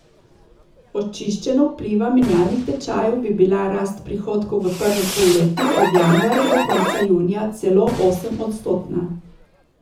Očiščeno vpliva menjalnih tečajev bi bila rast prihodkov v prvem polletju, od januarja do konca junija, celo osemodstotna.